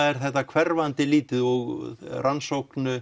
er þetta hverfandi lítið og í rannsókn